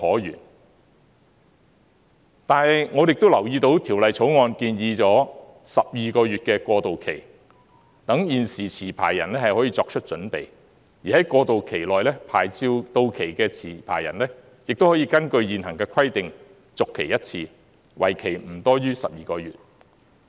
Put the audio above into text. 然而，我亦都留意到，《條例草案》建議12個月的過渡期，讓現時持牌人可以作出準備，而在過渡期內，牌照到期的持牌人，亦可以根據現行的規定，續期一次，為期不多於12個月。